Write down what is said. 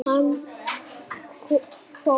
Hann fór fram í sal.